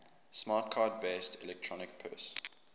smart card based electronic purse